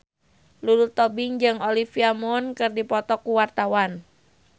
Lulu Tobing jeung Olivia Munn keur dipoto ku wartawan